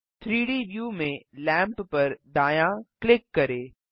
3डी व्यू में लैम्प पर दायाँ क्लिक करें